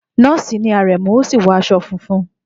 Nọ́ọ̀sì ni Aremu, ó sì wọ aṣọ funfun.